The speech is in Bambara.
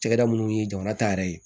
Cakɛda munnu ye jamana ta yɛrɛ ye